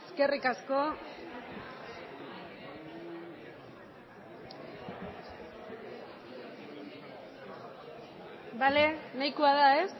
eskerrik asko bale nahikoa da ez